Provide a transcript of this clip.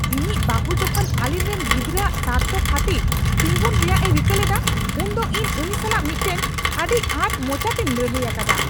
ᱤᱧᱤᱡ ᱵᱟᱹᱦᱩ ᱡᱚᱠᱷᱚᱱ ᱟᱹᱞᱤᱧ ᱨᱮᱱ ᱜᱤᱫᱽᱨᱟᱼᱟᱜ ᱥᱟᱨᱛᱷᱚ ᱠᱷᱟᱹᱛᱤᱨᱛᱤᱸᱜᱩᱱ ᱨᱮᱭᱟᱜᱼᱮ ᱨᱤᱠᱟᱹ ᱞᱮᱫᱟ ᱩᱱᱫᱚ ᱤᱧ ᱩᱱᱤ ᱥᱟᱞᱟᱜ ᱢᱤᱫᱴᱟᱝ ᱟᱹᱰᱤ ᱟᱸᱴ ᱢᱚᱪᱟᱛᱮᱧ ᱞᱟᱹᱲᱦᱟᱹᱭ ᱟᱠᱟᱫᱟ ᱾